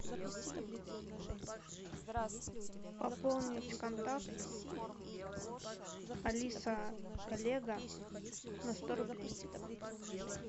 пополнить контакт алиса коллега на сто рублей